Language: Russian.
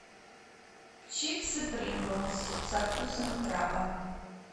чипсы принглс со вкусом краба